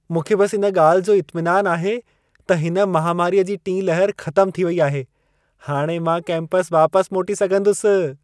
मूंखे बस इन ॻाल्हि जो इत्मिनान आहे त हिन महामारीअ जी टीं लहर ख़तमु थी वई आहे। हाणि मां कैंपस वापसि मोटी सघंदुसि।